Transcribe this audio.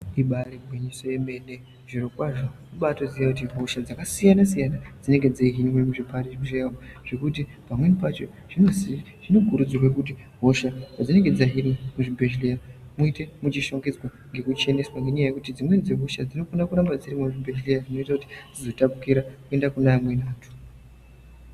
Ibaari ngwinyiso yemene, zvirokwazvo kubaatoziye kuti hosha dzakasiyana-siyana , dzinenge dzeihinwe muzvibhadhlera umu, zvekuti pamweni pacho zvinosa zvinokurudzirwe kuti hoshapadzinenge dzahinwa muzvibhedhlera muite muchishongedzwa ngekucheneswa ,ngenyaya yekuti dzimweni dzehosha dzinokona kuramba dzirimwo muzvibhedhlera zvinoita kuti dzizotapukira kuenda kune amweni.